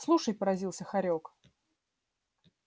слушай поразился хорёк